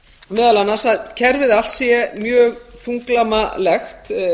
meðal annars að kerfið allt sé mjög þunglamalegt